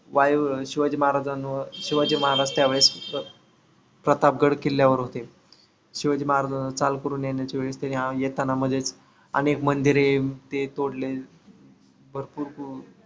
Y Shivaji महाराजांव शिवाजी महाराज त्या वेळेस प्रतापगड किल्ल्यावर होते. शिवाजी महाराजांवर चाल करून येण्याच्या वेळेस त्यांनी येताना मध्येच अनेक मंदिरे पेटवले. भरपूर